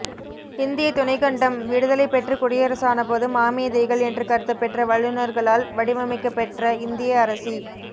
இந்திய துணைக்கண்டம் விடுதலை பெற்று குடியரசானபோது மாமேதைகள் என்று கருதப்பெற்ற வல்லுனர்களால் வடிவமைக்கப்பெற்ற இந்திய அரசி